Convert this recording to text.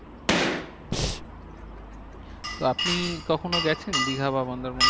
তো আপনি কখনো গেছেন দীঘা বা মন্দারমণি?